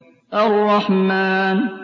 الرَّحْمَٰنُ